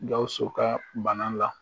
Gawusu ka bana la